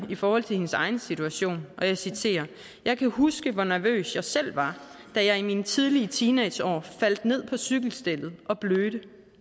i forhold til hendes egen situation og jeg citerer jeg kan huske hvor nervøs jeg selv var da jeg i mine tidlige teenageår faldt ned på cykelstellet og blødte